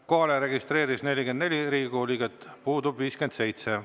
Kohalolijaks registreerus 44 Riigikogu liiget, puudub 57.